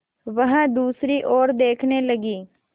वह दूसरी ओर देखने लगी